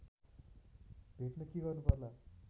भेट्न के गर्नुपर्ला